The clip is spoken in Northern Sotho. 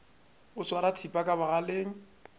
o swara thipa ka bogaleng